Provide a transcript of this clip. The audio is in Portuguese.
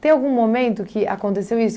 Tem algum momento que aconteceu isso?